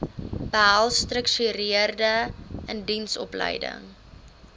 behels gestruktureerde indiensopleiding